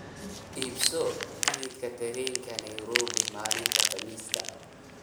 iibso tigidhka tareenka nairobi maalinta khamiista